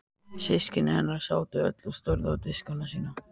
Systkini hennar sátu öll og störðu á diskana sína.